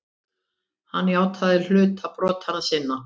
Hann játaði hluta brota sinna.